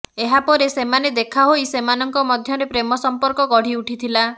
ଏହା ପରେ ସେମାନେ ଦେଖା ହୋଇ ସେମାନଙ୍କ ମଧ୍ୟରେ ପ୍ରେମସମ୍ପର୍କ ଗଢ଼ିଉଠିଥିଲା